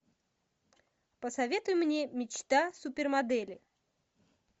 посоветуй мне мечта супермодели